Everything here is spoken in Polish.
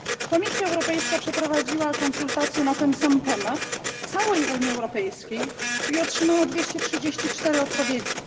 Komisja Europejska przeprowadziła konsultacje na ten sam temat w całej Unii Europejskiej i otrzymała 234 odpowiedzi.